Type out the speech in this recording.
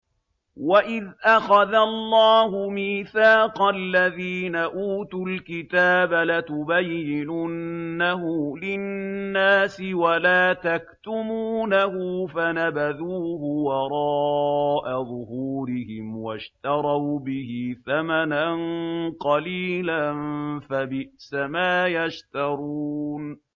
وَإِذْ أَخَذَ اللَّهُ مِيثَاقَ الَّذِينَ أُوتُوا الْكِتَابَ لَتُبَيِّنُنَّهُ لِلنَّاسِ وَلَا تَكْتُمُونَهُ فَنَبَذُوهُ وَرَاءَ ظُهُورِهِمْ وَاشْتَرَوْا بِهِ ثَمَنًا قَلِيلًا ۖ فَبِئْسَ مَا يَشْتَرُونَ